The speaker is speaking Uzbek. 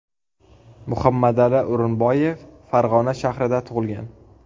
Muhammadali O‘rinboyev Farg‘ona shahrida tug‘ilgan.